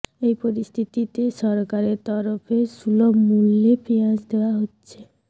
এই পরিস্থিতিতে সরকারের তরফে সুলভ মূল্যে পেঁয়াজ দেওয়া হচ্ছে